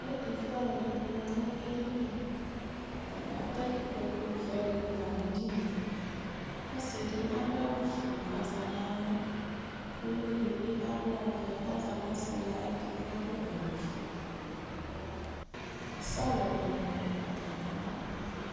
Ɛtʋfuealʋ dɩnɩ za nʋ edini dɩ Atanɩ atɛ ikpokuvɛ dɩnɩ la nʋ edini yɛ Ɔsɩ dɩ adʋ awʋfue kʋ ɔza nʋ alɔ Uvi dɩ bɩ adʋ ɔvɛ kʋ ɔza nʋ ɔsɩ dɩ ayɛtʋ kʋ adʋ awʋfue Sɔlɔ dɩnɩ dʋ atamɩalɔ